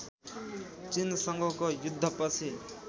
चिनसँगको युद्धपछि